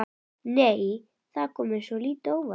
Nei! Það kom mér svolítið á óvart!